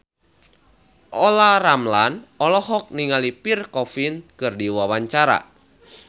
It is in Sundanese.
Olla Ramlan olohok ningali Pierre Coffin keur diwawancara